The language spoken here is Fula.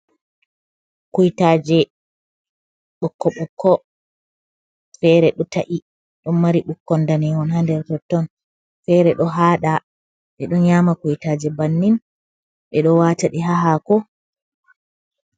Kuytaaje ɓokko-ɓokko, feere ɗo ta’i ɗon mari ɓukkon ndanehon haa nder totton, feere ɗo haaɗa, ɓe ɗo nyaama kuytaaje bannin, ɓe ɗo waata ɗi haa haako.